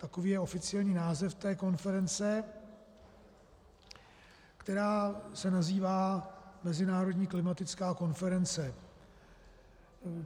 Takový je oficiální název té konference, která se nazývá mezinárodní klimatická konference.